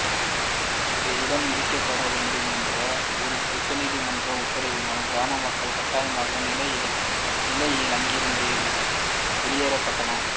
அந்த இடம் இடிக்கப்பட வேண்டும் என்ற உயர்நீதிமன்றத்தின் உத்தரவினால் கிராம மக்கள் கட்டாயமான நிலையில் அங்கிருந்து வெளியேற்றப்பட்டனர்